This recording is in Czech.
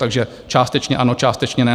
Takže částečně ano, částečně ne.